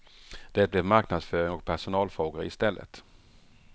Det blev marknadsföring och personalfrågor i stället.